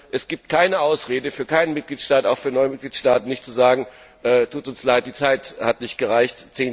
Es gibt keine Ausrede, für keinen Mitgliedstaat, auch für neue Mitgliedstaaten nicht, zu sagen Tut uns leid, die Zeit hat nicht gereicht.